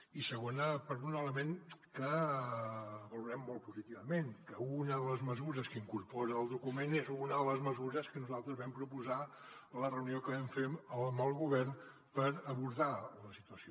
i segona per un element que valorem molt positivament que una de les mesures que incorpora el document és una de les mesures que nosaltres vam proposar a la reunió que vam fer amb el govern per abordar la situació